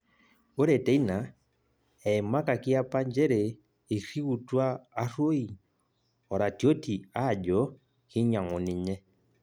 Ore teina, eimakakaki apa njere eiriuwutua Arroi oratioti ajo kinyang'u ninye